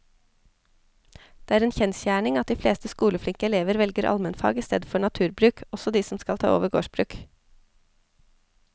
Det er en kjensgjerning at de fleste skoleflinke elevene velger allmennfag i stedet for naturbruk, også de som skal ta over gårdsbruk.